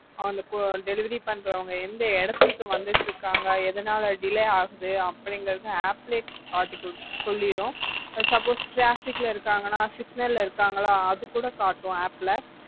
அவங்க delivery பண்றவங்க எந்த இடத்துக்கு வந்துட்டு இருக்காங்க எதனால delay ஆகுது அப்படிங்கறத app ல காட்டி சொல்லிடும் suppose traffic ல இருக்காங்கண்ணா signal ல இருக்காங்களா அது கூட காட்டும் app ல